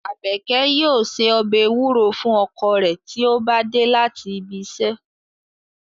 Abeke yoo se ọbẹ ewuro fun ọkọ re ti o ba de lati ibi iṣẹ